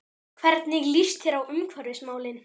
Hvernig líst þér á umhverfismálin?